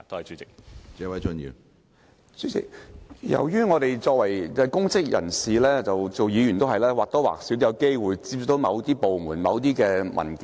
主席，由於我們是公職人員及議員，我們或多或少都有機會接觸到某些部門及某些文件。